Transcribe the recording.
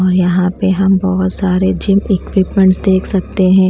और यहाँ पे हम बहुत सारे जिम इक्विपमेंट्स देख सकते हैं।